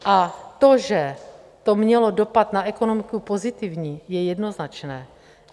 A to, že to mělo dopad na ekonomiku pozitivní, je jednoznačné.